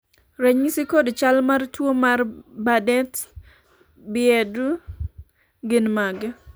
ranyisi kod chal mar tuo mar Bardet Biedl gin mage?